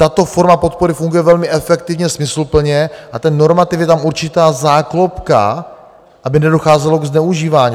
Tato forma podpory funguje velmi efektivně, smysluplně a ten normativ, je tam určitá záklopka, aby nedocházelo ke zneužívání.